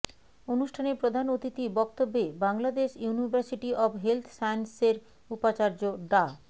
অনুষ্ঠানে প্রধান অতিথি বক্তব্যে বাংলাদেশ ইউনিভার্সিটি অব হেলথ সায়েন্সেসের উপাচার্য ডা